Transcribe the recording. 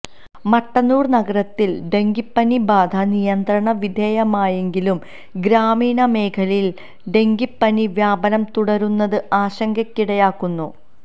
മട്ടന്നൂര് നഗരത്തില് ഡങ്കിപ്പനി ബാധ നിയന്ത്രണ വിധേയമായെങ്കിലും ഗ്രാമീണ മേഖലയില് ഡങ്കിപ്പനി വ്യാപനം തുടരുന്നത് ആശങ്കയ്ക്കിടയാക്കുന്നു